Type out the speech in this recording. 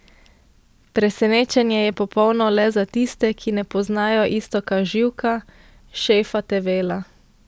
Presenečenje je popolno le za tiste, ki ne poznajo Iztoka Živka, šefa Tevela.